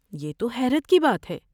یہ تو حیرت کی بات ہے!